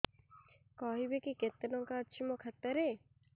କହିବେକି କେତେ ଟଙ୍କା ଅଛି ମୋ ଖାତା ରେ